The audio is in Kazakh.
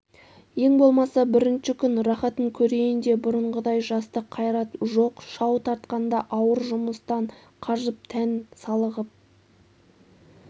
ең болмаса бірінші күн рахатын көрейін де бұрынғыдай жастық қайрат жоқ шау тартқанда ауыр жұмыстан қажып тән салығып